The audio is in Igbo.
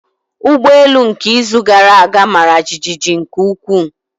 Ụgbọ elu nke izu gara aga mara jijiji nke ukwuu.